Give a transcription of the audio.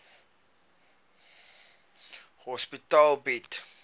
psigiatriese hospitale bied